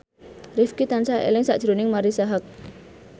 Rifqi tansah eling sakjroning Marisa Haque